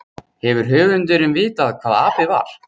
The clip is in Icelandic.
Hefur höfundurinn vitað hvað api var?